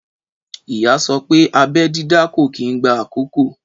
Ìyá sopé abẹ́ dídá kò kí n gba àkókò.